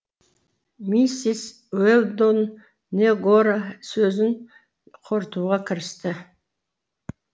миссис уэлдон негоро сөзін қорытуға кірісті